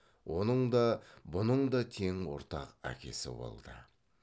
оның да бұның да тең ортақ әкесі болды